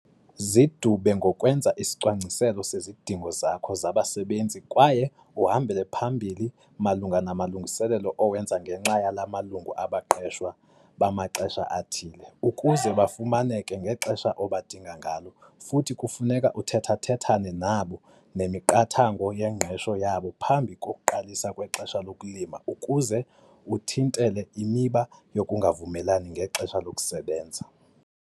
Zidube ngokwenza isicwangciselo sezidingo zakho zabasebenzi kwaye uhambele phambili malunga namalungiselelo owenza ngenxa yala malungu abaqeshwa bamaxesha athile ukuze bafumaneke ngexesha obadinga ngalo futhi kufuneka uthetha-thethane nabo nemiqathango yengqesho yabo phambi kokuqalisa kwexesha lokulima ukuze uthintele imiba yokungavumelani ngexesha lokusebenza.